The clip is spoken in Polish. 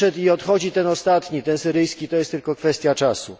Odszedł i odchodzi ten ostatni, syryjski to jest tylko kwestia czasu.